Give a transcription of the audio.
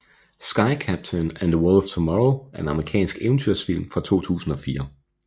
Sky Captain and the World of Tomorrow er en amerikansk eventyrsfilm fra 2004